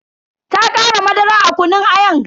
Ta kara madara a kunun ayan.